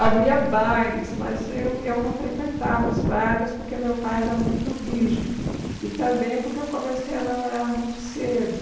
Havia bailes, mas eu eu não frequentava os bailes porque meu pai era muito rígido e também porque eu comecei a namorar muito cedo.